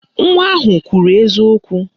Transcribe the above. Nwa ahụ kwuru eziokwu